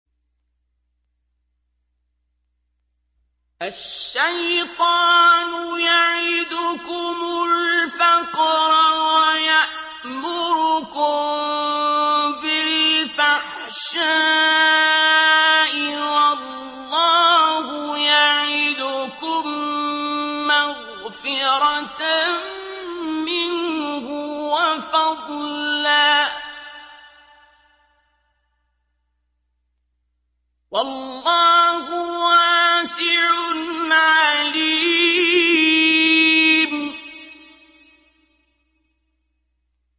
الشَّيْطَانُ يَعِدُكُمُ الْفَقْرَ وَيَأْمُرُكُم بِالْفَحْشَاءِ ۖ وَاللَّهُ يَعِدُكُم مَّغْفِرَةً مِّنْهُ وَفَضْلًا ۗ وَاللَّهُ وَاسِعٌ عَلِيمٌ